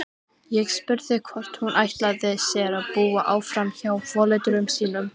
Ég spurði hvort hún ætlaði sér að búa áfram hjá foreldrum sínum.